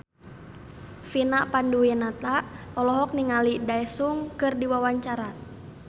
Vina Panduwinata olohok ningali Daesung keur diwawancara